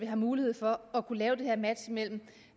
har mulighed for at kunne lave det her match mellem